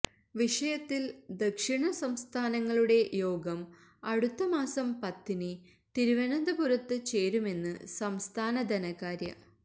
വിഷയത്തില് ദക്ഷിണ സംസ്ഥാനങ്ങളുടെ യോഗം അടുത്ത മാസം പത്തിന് തിരുവനന്തപുരത്ത് ചേരുമെന്ന് സംസ്ഥാന ധനകാര്യ